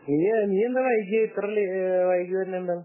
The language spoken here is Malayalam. നീയെന്താ വൈകിയേ നീ ഇത്ര വൈകി വരുന്നത് എന്താ